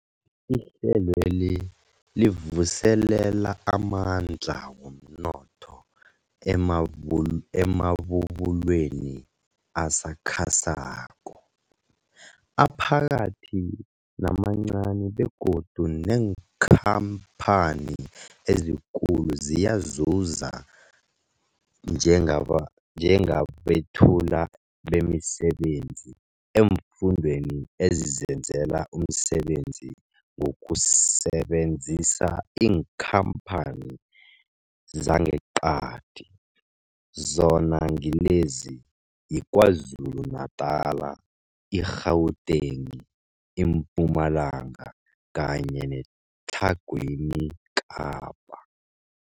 Ihlelweli livuselela amandla womnotho emabul emabubulweni asakhasako, aphakathi namancani begodu neenkhamphani ezikulu ziyazuza njengaba njengabethuli bemisebenzi eemfundeni ezizenzela umsebenzi ngokusebenzisa iinkhamphani zangeqadi, zona ngilezi, yiKwaZulu-Natala, i-Gauteng, iMpumalanga kanye neTlhagwini Kapa.